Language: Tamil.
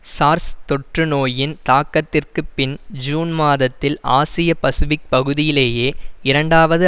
சார்ஸ் தொற்று நோயின் தாக்கத்திற்குப் பின் ஜூன் மாதத்தில் ஆசிய பசிபிக் பகுதியிலேயே இரண்டாவது